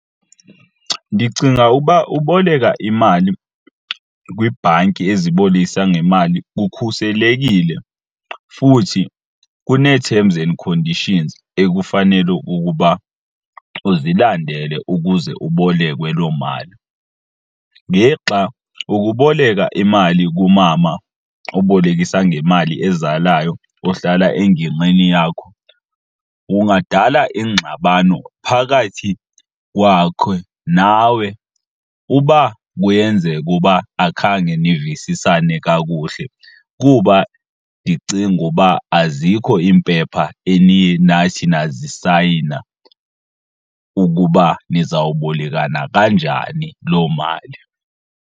Ndicinga uba uboleka imali kwiibhanki ezibolekisa ngemali kukhuselekile futhi kunee-terms and conditions ekufanele ukukuba uzilandele ukuze ubolekwe loo mali. Ngexa ukuboleka imali kumama obolekisa ngemali ezalayo ohlala engingqini yakho kungadala ingxabano phakathi kwakhe nawe uba kuyenzeka uba akhange nisisane nina kakuhle kuba ndicinga uba azikho iimpepha eniye nathi nazisayina ukuba nizawubolekana kanjani loo mali.